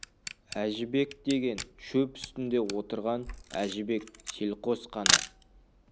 әжібек деген шөп үстінде отырған әжібек селқос қана